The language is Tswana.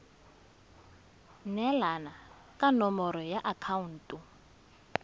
neelana ka nomoro ya akhaonto